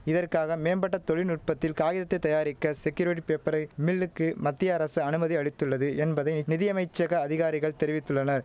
இதற்காக மேம்பட்ட தொழில்நுட்பத்தில் காகிதத்தைத் தயாரிக்க செக்யூரிட்டி பேப்பரை மில்லுக்கு மத்திய அரசு அனுமதி அளித்துள்ளது என்பதை நிதியமைச்சக அதிகாரிகள் தெரிவித்துள்ளனர்